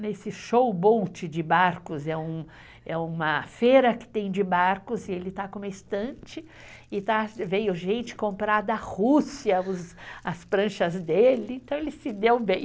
Nesse show boat de barcos, é uma feira que tem de barcos e ele está com uma estante e veio gente comprar da Rússia as pranchas dele, então ele se deu bem.